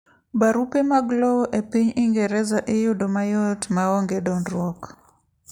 Barupe mag lowo epiny Ingereza iyudo mayot maonge dondruok.